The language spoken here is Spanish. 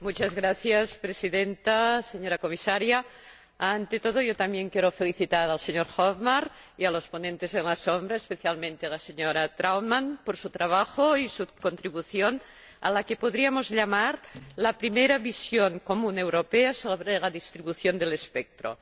Señora Presidenta, señora Comisaria, ante todo yo también quiero felicitar al señor Hökmark y a los ponentes alternativos, especialmente a la señora Trautmann, por su trabajo y su contribución a la que podríamos llamar primera visión común europea sobre la distribución del espectro.